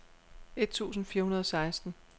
et tusind fire hundrede og seksten